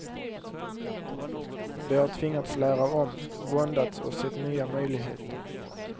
De har tvingats lära om, våndats och sett nya möjligheter.